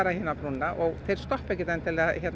hina brúna og þeir stoppa ekkert endilega